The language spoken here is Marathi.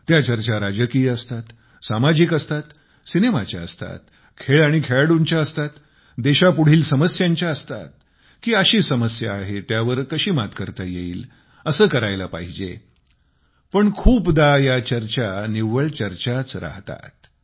त्या चर्चा राजकीय असतात सामाजिक असतात सिनेमाच्या असतात खेळ आणि खेळाडूंच्या असतात देशापुढील समस्यांच्या असतात की अशी समस्या आहे त्यावर कशी मात करता येईल असे करायला पाहिजे पण खूपदा या चर्चा निव्वळ चर्चाच राहतात